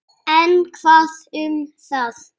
En hvað um það!